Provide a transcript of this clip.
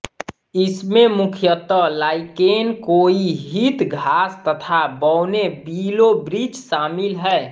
इसमें मुख्यतः लाइकेन काई हीथ घास तथा बौने विलोवृक्ष शामिल हैं